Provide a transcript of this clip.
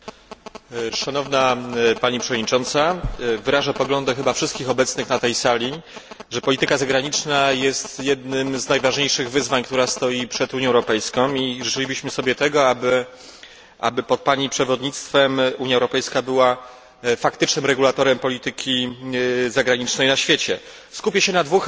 Panie przewodniczący! Pani przewodnicząca! Wyrażę poglądy chyba wszystkich obecnych na tej sali, że polityka zagraniczna jest jednym z najważniejszych wyzwań, które stoją przed Unią Europejską i życzylibyśmy sobie tego, aby pod pani przewodnictwem Unia Europejska była faktycznym regulatorem polityki zagranicznej na świecie. Skupię się na dwóch elementach.